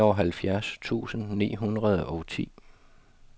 nioghalvfjerds tusind ni hundrede og ti